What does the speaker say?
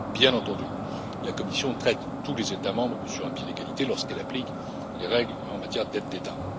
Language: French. Bien entendu, la Commission traite tous les États membres sur un pied d'égalité lorsqu'elle applique les règles relatives aux aides d'État.